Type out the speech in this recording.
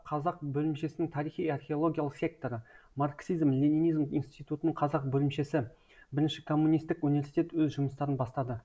казақ бөлімшесінің тарихи археологиялық секторы марксизм ленинизм институтының қазақ бөлімшесі бірінші коммунистік университет өз жұмыстарын бастады